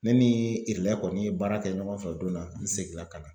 Ne ni kɔni ye baara kɛ ɲɔgɔn fɛ o don na n seginna ka na.